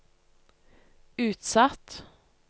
utsatt